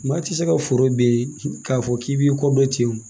Maa tɛ se ka foro ben k'a fɔ k'i b'i kɔ dɔn ten wo